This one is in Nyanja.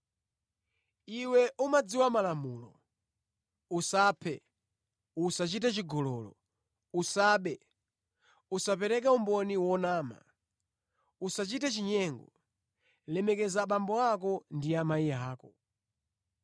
Iwe umadziwa malamulo: ‘Usaphe, usachite chigololo, usabe, usapereke umboni wonama, usachite chinyengo, lemekeza abambo ndi amayi ako.’ ”